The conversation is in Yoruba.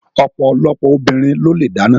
Ọ̀pọ̀lọpọ̀ obìnrin ló le dáná.